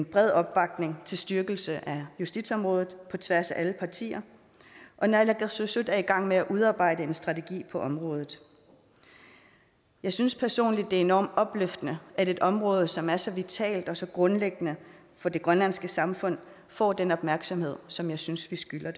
bred opbakning til styrkelse af justitsområdet på tværs af alle partier og naalakkersuisut er i gang med at udarbejde en strategi på området jeg synes personligt det er enormt opløftende at et område som er så vitalt og så grundlæggende for det grønlandske samfund får den opmærksomhed som jeg synes vi skylder